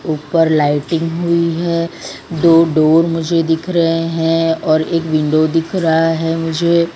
ऊपर लाइटिंग हुई है दो डोर मुझे दिख रहे हैं और एक विंडो दिख रहा है मुझे --